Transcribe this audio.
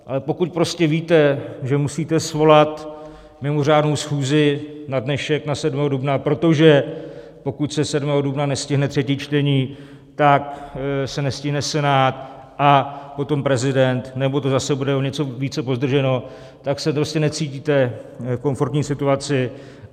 Ale pokud prostě víte, že musíte svolat mimořádnou schůzi na dnešek, na 7. dubna, protože pokud se 7. dubna nestihne třetí čtení, tak se nestihne Senát a potom prezident, nebo to zase bude o něco více pozdrženo, tak se prostě necítíte v komfortní situaci.